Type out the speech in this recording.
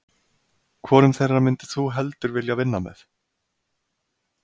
Hvorum þeirra myndir þú heldur vilja vinna með?